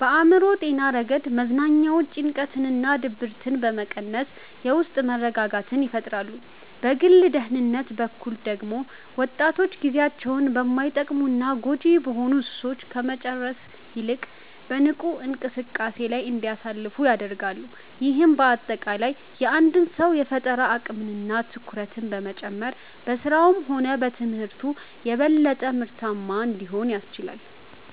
በአእምሮ ጤና ረገድ መዝናኛዎች ጭንቀትንና ድብርትን በመቀነስ የውስጥ መረጋጋትን ይፈጥራሉ። በግል ደህንነት በኩል ደግሞ ወጣቶች ጊዜያቸውን በማይጠቅሙና ጎጂ በሆኑ ሱሶች ከመጨረስ ይልቅ በንቁ እንቅስቃሴዎች ላይ እንዲያሳልፉ ያደርጋሉ። ይህም በአጠቃላይ የአንድን ሰው የፈጠራ አቅምና ትኩረት በመጨመር በሥራውም ሆነ በትምህርቱ የበለጠ ምርታማ እንዲሆን ያስችላል።